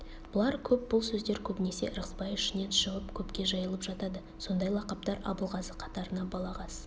бұлар көп бұл сөздер көбінесе ырғызбай ішінен шығып көпке жайылып жатады сондай лақаптар абылғазы қатарына балағаз